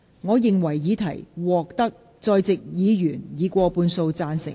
我認為議題獲得在席議員以過半數贊成。